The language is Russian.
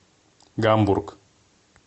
гамбург